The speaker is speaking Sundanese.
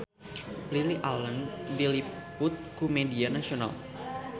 Lily Allen diliput ku media nasional